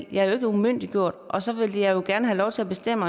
jeg er jo ikke umyndiggjort og så vil jeg jo gerne have lov til at bestemme